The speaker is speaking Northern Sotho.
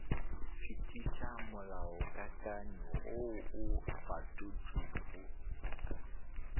fetiša molaokakanywa woo o fetotšwego